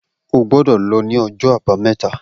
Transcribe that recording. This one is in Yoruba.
O gbọdọ̀ lọ ni ọjọ abameta